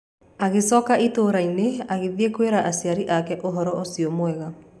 Agĩcoka itũũra-inĩ agĩthiĩ kwĩra aciari ake ũhoro ũcio mwega.